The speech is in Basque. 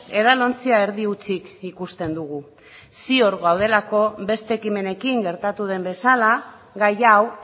edalontzia erdi hutsik ikusten dugu ziur gaudelako beste ekimenekin gertatu den bezala gai hau